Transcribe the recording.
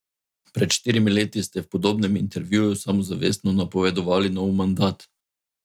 Pred štirimi leti ste v podobnem intervjuju samozavestno napovedovali nov mandat.